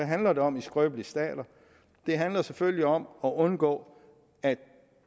handler det om i skrøbelige stater det handler selvfølgelig om at undgå at